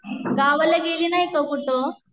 गावाला गेली नाहीका कुठं?